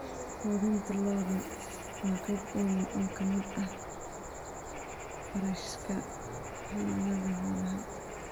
Quudinta lo'du waa qayb weyn oo ka mid ah kharashka xanaanada xoolaha.